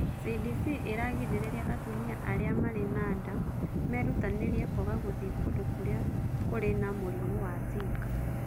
CDC ĩragĩrĩria atumia arĩa marĩ na nda merutanĩrie kwaga gũthiĩ kũndũ kũrĩa kũrĩ na mũrimũ wa Zika.